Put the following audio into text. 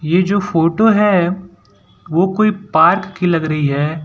ये जो फोटो है वो कोई पार्क की लग रही है।